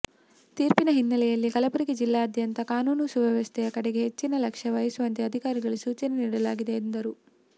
ತೀರ್ಪಿನ ಹಿನ್ನೆಲೆಯಲ್ಲಿ ಕಲಬುರಗಿ ಜಿಲ್ಲೆಯಾದ್ಯಂತ ಕಾನೂನು ಸುವ್ಯವಸ್ಥೆ ಯ ಕಡೆಗೆ ಹೆಚ್ಚಿನ ಲಕ್ಷ್ಯ ವಹಿಸುವಂತೆ ಅಧಿಕಾರಿಗಳಿಗೆ ಸೂಚನೆ ನೀಡಲಾಗಿದೆ ಎಂದರು